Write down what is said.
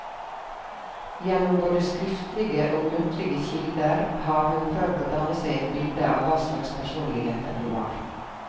Gjennom både skriftlige og muntlige kilder har hun prøvd å danne seg et bilde av hva slags personligheter de var.